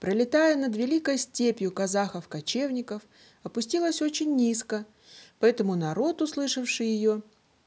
пролетая над великой степью казахов кочевников опустилась очень низко поэтому народ услышавший её